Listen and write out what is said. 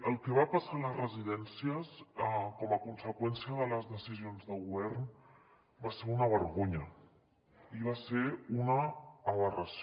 el que va passar a les residències a conseqüència de les decisions de govern va ser una vergonya i va ser una aberració